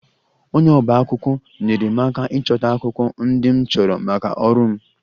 Onye ọba akwụkwọ nyeere m aka ịchọta akwụkwọ ndị m chọrọ maka ọrụ m